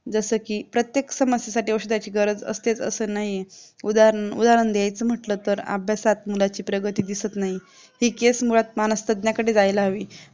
जसं की प्रत्येक समस्येसाठी औषधची गरज असते असं नाही आहे, उदाहरण-उदाहरण जायचं म्हटलं तर अभ्यासात मुलाचा प्रगती दिसत नाही ती case मुळात मानसतज्ञांकडे जायला हवी.